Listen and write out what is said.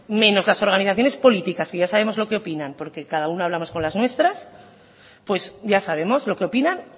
menos las organizaciones políticas que ya sabemos lo que opinan porque cada una habla más con las nuestras pues ya sabemos lo que opinan